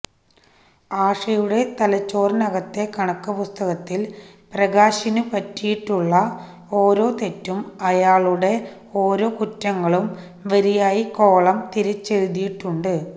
ആഷയുടെ തലച്ചോറിനകത്തെ കണക്കു പുസ്തകത്തിൽ പ്രകാശിനു പറ്റിയിട്ടുളള ഓരോ തെറ്റും അയാളുടെ ഓരോ കുറ്റങ്ങളും വരിയായി കോളം തിരിച്ചെഴുതിയിട്ടുണ്ട്